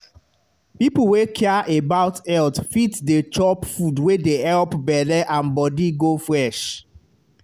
people wey care about health fit dey chop food wey dey help belle and body go fresh.